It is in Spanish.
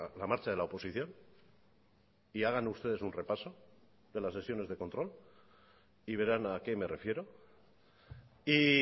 la marcha de la oposición y hagan ustedes un repaso de las sesiones de control y verán a qué me refiero y